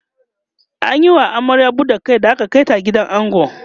an Yi wa amaryar buɗar Kai da aka Kai ta gidan ango